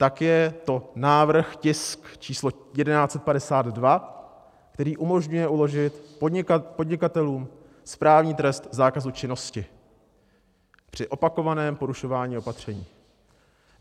Tak je to návrh, tisk číslo 1152, který umožňuje uložit podnikatelům správní trest zákazu činnosti při opakovaném porušování opatření.